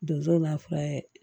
Donso b'a fura ye